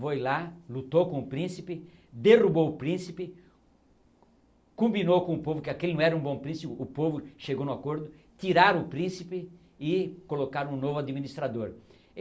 Foi lá, lutou com o príncipe, derrubou o príncipe, combinou com o povo que aquele não era um bom príncipe, o povo chegou no acordo, tiraram o príncipe e colocaram um novo administrador.